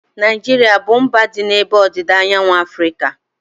Naijiria abụ mba dị n'ebe ọdịda anyanwụ Afrịka?